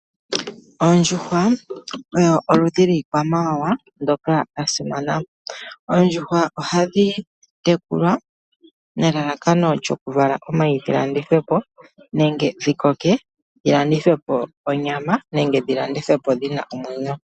Oondjuhwa oyo oludhi lwiikwamawawa ndoka lwasimana. Oondjuhwa ohadhi tekulwa nelalakano lyoku vala omayi galandithwepo nenge dhikoke dhilandithwepo onyama, nenge dhilandithwepo dhina omwenyo.